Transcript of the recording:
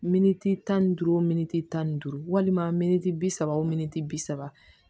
Miniti tan ni duuru wo militi tan ni duuru walima miniti bi saba o miniti bi saba